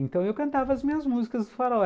Então eu cantava as minhas músicas do Faraó.